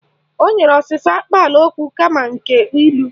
O nyere ọsịsa akpaalaokwu kama nke ilu